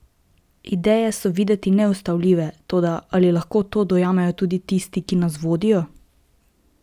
Ideje so videti neustavljive, toda ali lahko to dojamejo tudi tisti, ki nas vodijo?